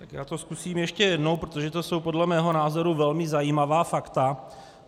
Tak já to zkusím ještě jednou, protože to jsou podle mého názoru velmi zajímavá fakta.